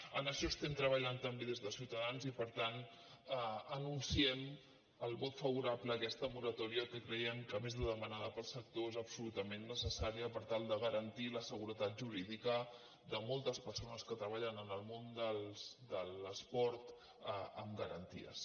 en això estem treballant també des de ciutadans i per tant anunciem el vot favorable a aquesta moratòria que creiem que a més de demanada pel sector és ab·solutament necessària per tal de garantir la seguretat jurídica de moltes persones que treballen en el món de l’esport amb garanties